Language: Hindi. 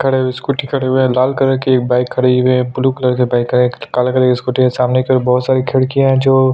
खड़े हुए स्कूटी खड़े हुए लाल कलर के बाइक खड़े हुए ब्लू कलर के बाइक है एक काला कलर का स्कूटी है सामने एक बहुत सारी खिड़कियां है जो--